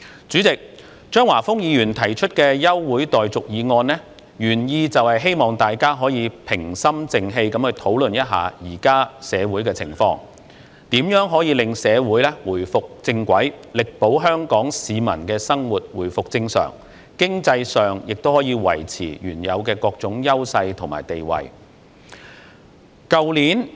主席，張華峰議員提出的休會待續議案，原意是希望大家可以平心靜氣去討論現時社會的情況，如何令社會回復正軌，力保香港市民的生活回復正常，經濟上亦可以維持原有的各種優勢和地位。